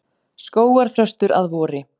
Skógarþröstur að vori.